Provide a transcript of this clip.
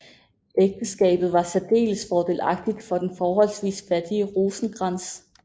Ægteskabet var særdeles fordelagtigt for den forholdsvis fattige Rosenkrantz